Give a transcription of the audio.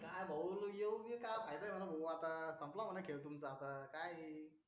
काय भाऊ योग्य काम आहे ना आता संपला म्हणे खेळ तुमचा काय हे